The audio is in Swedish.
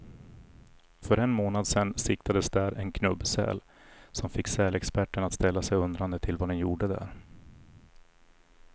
För en månad sedan siktades där en knubbsäl, som fick sälexperterna att ställa sig undrande till vad den gjorde där.